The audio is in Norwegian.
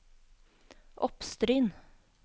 Oppstryn